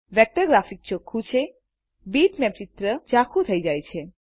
vector graphic ચોખું છે bitmap ચિત્ર જાખું થઇ જાય છે